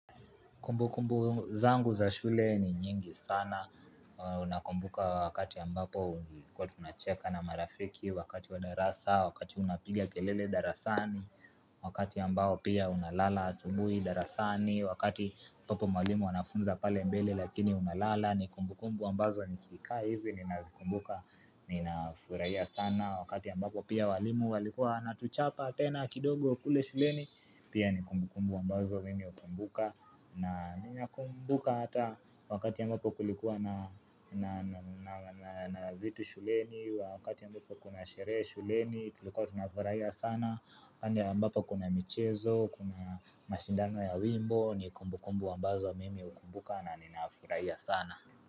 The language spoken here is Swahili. Kumbukumbu zangu za shule ni nyingi sana, nakumbuka wakati ambapo kuwa tunacheka na marafiki, wakati wa darasa, wakati unapigia kelele darasani, wakati ambapo pia unalala asubui darasani, wakati hapo mwalimu wanafunza pale mbele lakini unalala, ni kumbukumbu ambazo nikika hivi, ninafuraia sana, wakati ambapo pia walimu walikua wanatuchapa tena kidogo kule shuleni, pia ni kumbukumbu ambazo mimi hukumbuka, na nina kumbuka hata wakati ambapo kulikuwa na vitu shuleni Wakati ambapo kuna sherehe shuleni tulikuwa tunafuraia sana pale ambapo kuna michezo Kuna mashindano ya wimbo ni kumbukumbu ambazo wa mimi hukumbuka na ninafuraia sana.